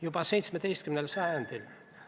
Juba 17. sajandil ...